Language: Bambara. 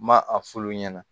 N ma a f'olu ɲɛna